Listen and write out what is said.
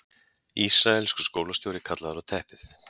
Ísraelskur skólastjóri kallaður á teppið